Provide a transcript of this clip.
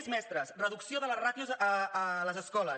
més mestres reducció de les ràtios a les escoles